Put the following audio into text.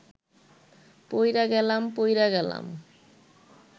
পইড়া গেলাম পইড়া গেলাম